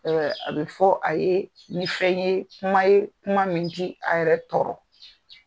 a bɛ fɔ a ye ni fɛn ye kuma ye kuma min ti a yɛrɛ tɔɔrɔ.